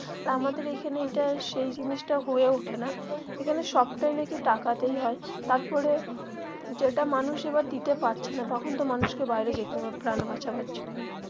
আর আমাদের এইখানে এইটা সেই জিনিসটা হয়ে ওঠে না এখানে সবটাই নাকি টাকাতেই হয় তারপরে যেটা মানুষ এবার দিতে পারছে না তখন তো মানুষকে বাইরে যেতে হবে প্রাণ বাঁচাবার জন্যে.